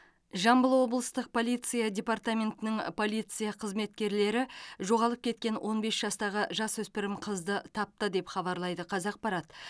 жамбыл облыстық полиция департаментінің полиция қызметкерлері жоғалып кеткен он бес жастағы жасөспірім қызды тапты деп хабарлайды қазақпарат